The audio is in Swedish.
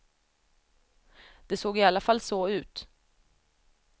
Det såg i alla fall så ut.